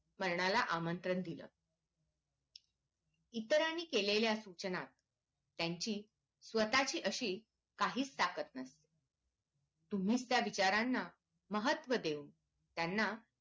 मरणाला आमंत्रण दिल इतरांनी केलेल्या सूचना त्यांची स्वतःची अशी काहीच ताकद नसते तुम्हीच त्या विचारांना महत्व देऊन त्यांना